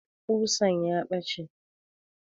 Ƙusan ya ɓace